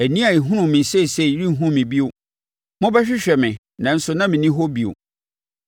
Ani a ɛhunu me seesei renhunu me bio; mobɛhwehwɛ me, nanso na menni hɔ bio.